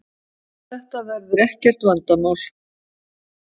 Þetta verður ekkert vandamál